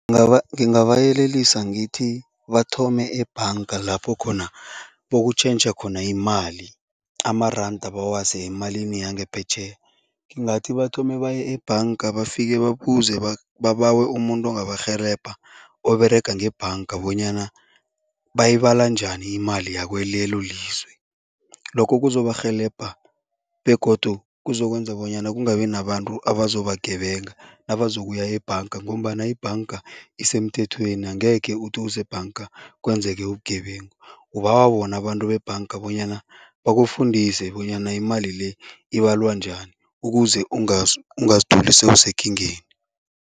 Ngingabayelelisa ngithi, bathome ebhanga lapho khona bokutjhentjha khona imali, amaranda bawase emalini yangaphetjheya. Ngingathi bathome baye ebhanga, bafike babuze babawe umuntu ongabarhelebha oberega ngebhanga bonyana bayibala njani imali yakulelo lizwe. Lokhu kuzobarhelebha begodu kuzokwenza bonyana kungabi nabantu abazobagebenga nabazokuya ebhanga ngombana ibhanga isemthethweni, angekhe uthi usebhanga kwenzeke ubugebengu. Ubawa bona abantu bebhanga bonyana bakufundise bonyana imali le, ibalwa njani ukuze ungazitholi sewusekingeni.